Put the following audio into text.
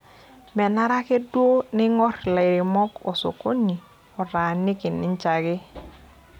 Menare ake duo neingorr lairemok osokoni otaaniki ninje ake.